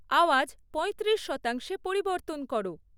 আওয়াজ পঁয়ত্রিশ শতাংশে পরিবর্তন করো